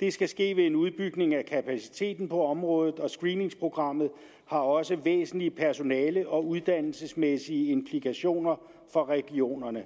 der skal ske en udbygning af kapaciteten på området og screeningsprogrammet har også væsentlige personale og uddannelsesmæssige implikationer for regionerne